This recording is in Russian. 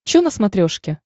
чо на смотрешке